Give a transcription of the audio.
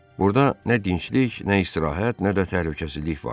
Burada nə dinclik, nə istirahət, nə də təhlükəsizlik vardı.